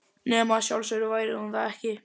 Nema að sjálfsögðu væri hún það ekki.